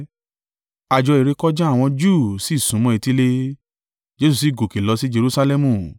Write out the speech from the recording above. Àjọ ìrékọjá àwọn Júù sì súnmọ́ etílé, Jesu sì gòkè lọ sí Jerusalẹmu,